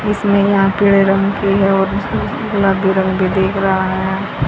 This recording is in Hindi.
इसमें यहां पे रंग की है और उसकी गुलाबी भी दिख रहा है।